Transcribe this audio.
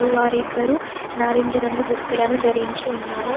వారిద్దరూ నారింజ దుస్తులను ధరించి ఉన్నారు.